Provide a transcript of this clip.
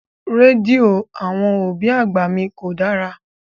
Rédíò àwọn òbí àgbà mi kò dára.